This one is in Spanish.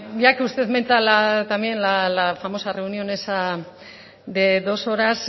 ya que usted menta la también la famosa reunión esa de dos horas